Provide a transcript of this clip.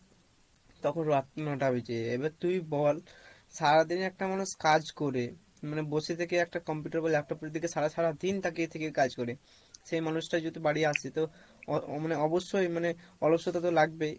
তখন রাত ন-টা বেজে যাই এবার তুই বল সারাদিনে একটা মানুষ কাজ করে মানে বসে থেকে একটা computer বা laptop এর দিকে সারা সারা দিন তাকিয়ে থেকে কাজ করে সেই মানুষটা যদি বাড়ি আসি তো মানে অ~অবশ্যই মানে অলসতা তো লাগবেই,